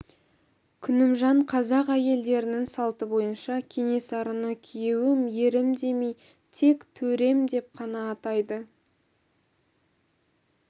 күнімжан қазақ әйелдерінің салты бойынша кенесарыны күйеуім ерім демей тек төрем деп қана атайды